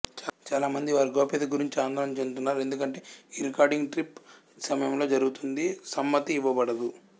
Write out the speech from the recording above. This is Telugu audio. చాలా మంది వారి గోప్యత గురించి ఆందోళన చెందుతున్నారు ఎందుకంటే ఈ రికార్డింగ్ ట్రిప్ సమయంలో జరుగుతుంది సమ్మతి ఇవ్వబడదు